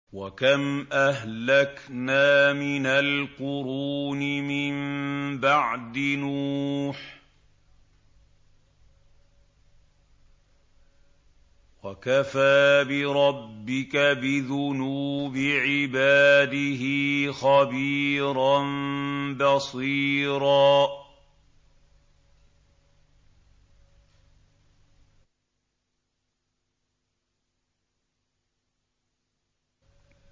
وَكَمْ أَهْلَكْنَا مِنَ الْقُرُونِ مِن بَعْدِ نُوحٍ ۗ وَكَفَىٰ بِرَبِّكَ بِذُنُوبِ عِبَادِهِ خَبِيرًا بَصِيرًا